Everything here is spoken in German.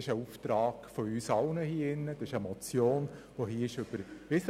Das ist ein Auftrag von uns allen im Grossen Rat, denn eine entsprechende Motion wurde hier überwiesen.